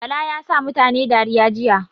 Bala yasa mutane dariya jiya